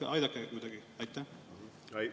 Aidake kuidagi!